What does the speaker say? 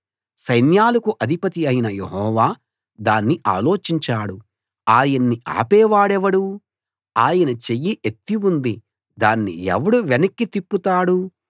సైన్యాలకు అధిపతి అయిన యెహోవా దాన్ని ఆలోచించాడు ఆయన్ని ఆపేవాడెవడు ఆయన చెయ్యి ఎత్తి ఉంది దాన్ని ఎవడు వెనక్కి తిప్పుతాడు